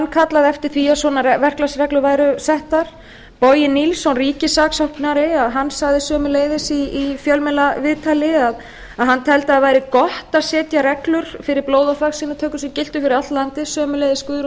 kallaði eftir því að svona verklagsreglur væru settar bogi nilsson ríkissaksóknari hann sagði sömuleiðis í fjölmiðlaviðtali að hann teldi að það væri gott að setja reglur fyrir blóð og þvagsýnatöku sem giltu fyrir allt landið sömuleiðis guðrún